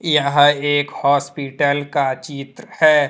यह एक हॉस्पिटल का चित्र है।